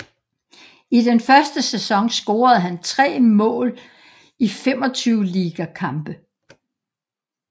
I den første sæson scorede han 3 mål i 25 liga kampe